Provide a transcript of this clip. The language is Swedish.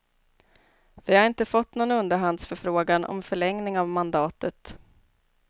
Vi har inte fått någon underhandsförfrågan om förlängning av mandatet.